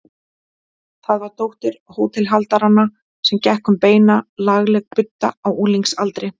Það var dóttir hótelhaldaranna sem gekk um beina, lagleg budda á unglingsaldri.